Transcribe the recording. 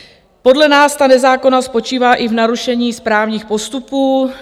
Podle nás ta nezákonnost spočívá i v narušení správních postupů.